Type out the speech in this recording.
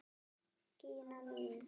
Gína mín!